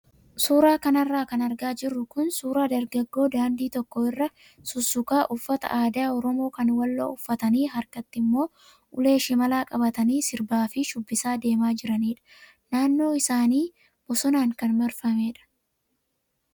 Suuraa kanarra kan argaa jirru kun suuraa dargaggoo daandii tokko irra sussukaa uffata aadaa oromoo kan walloo uffatanii harkatti immoo ulee shimalaa qabatanii sirbaa fi shubbisaa deemaa jiranidha. Naannoon isaanii bosonaan kan marfamedha.